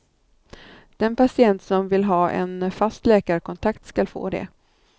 Den patient som vill ha en fast läkarkontakt skall få det.